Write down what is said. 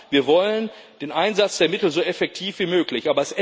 Ja, wir wollen den Einsatz der Mittel so effektiv wie möglich.